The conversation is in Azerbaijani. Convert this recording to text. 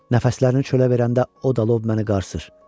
Nəfəslərini çölə verəndə o da lob məni qarsır.